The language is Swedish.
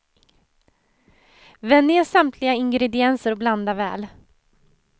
Vänd ner samtliga ingredienser och blanda väl.